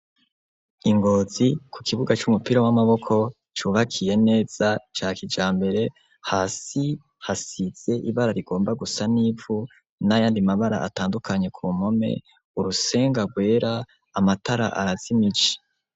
I Ngozi ku kibuga c'umupira w'amaboko cubakiye neza ca kijambere, hasi hasize ibara rigomba gusa n'ivu n'ayandi mabara atandukanye ku mpome, urusenga rwera, amatara arazimije.